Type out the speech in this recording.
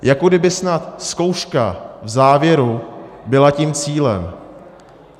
Jako kdyby snad zkouška v závěru byla tím cílem.